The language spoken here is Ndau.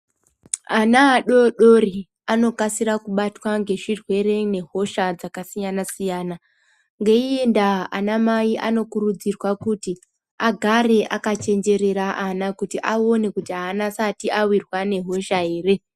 Ana adodori anokasira kubatwa ngezvirwere nehosha dzakasiyana siyana. Ngeiiye ndaa ana mai anokurudzirwa kuti agare akachenjerera ana kuti aone kuti aasati awirwa nehosha ere.